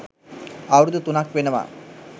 අවුරුදු තුනක් වෙනවා.